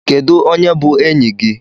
Kedu onye bu enyi gi?